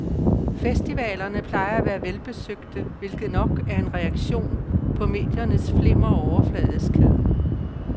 Festivalerne plejer at være velbesøgte, hvilket nok er en reaktion på mediernes flimmer og overfladiskhed.